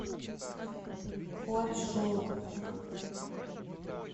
хуачжоу